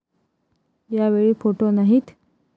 यावेळी फोटो नाहीत.